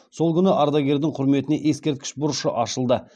сол күні ардагердің құрметіне ескерткіш бұрышы ашылды